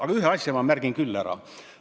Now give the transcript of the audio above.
Aga ühe asja ma märgin küll ära.